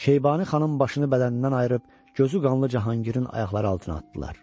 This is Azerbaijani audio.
Şeybani Xanın başını bədənindən ayırıb, gözü qanlı Cahanqirin ayaqları altına atdılar.